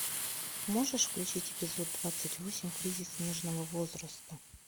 можешь включить эпизод двадцать восемь кризис нежного возраста